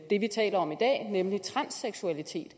er tale om i dag nemlig transseksualitet